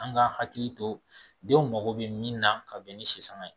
An ka hakili to denw mago bɛ min na ka bɛn ni si saŋa ye